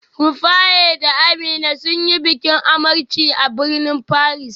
Rufaye da Amina sun yi bikin amarci a birnin Paris